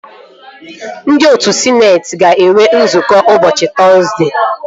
Ndị otu sịneetị ga-enwe nzukọ ụbọchị Tọzdee